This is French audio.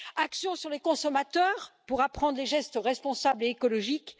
action sur les consommateurs, pour apprendre les gestes responsables et écologiques